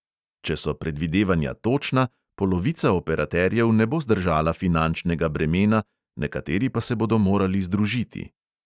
Če so predvidevanja točna, polovica operaterjev ne bo zdržala finančnega bremena, nekateri pa se bodo morali združiti.